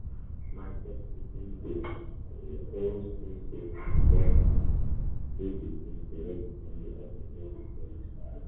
market people dey um always feel say dem um dey between to make money and to deal with police wahala.